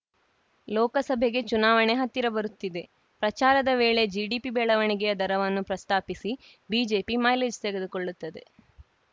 ಲೋಕಸಭೆಗೆ ಚುನಾವಣೆ ಹತ್ತಿರ ಬರುತ್ತಿದೆ ಪ್ರಚಾರದ ವೇಳೆ ಜಿಡಿಪಿ ಬೆಳವಣಿಗೆಯ ದರವನ್ನು ಪ್ರಸ್ತಾಪಿಸಿ ಬಿಜೆಪಿ ಮೈಲೇಜ್‌ ತೆಗೆದುಕೊಳ್ಳುತ್ತದೆ